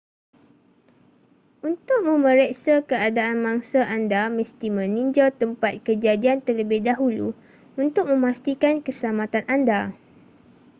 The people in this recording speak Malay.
untuk memeriksa keadaan mangsa anda mesti meninjau tempat kejadian terlebih dahulu untuk memastikan keselamatan anda